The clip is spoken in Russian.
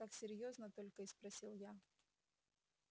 так серьёзно только и спросил я